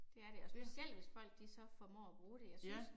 Ja. Ja